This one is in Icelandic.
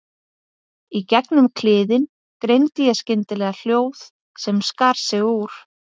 Í gegnum kliðinn greindi ég skyndilega hljóð sem skar sig úr.